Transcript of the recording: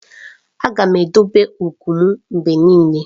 Aga m edobe ugwu m mgbe niile.